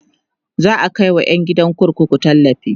za'a Kai wa ƴan gidan kurkuku tallafi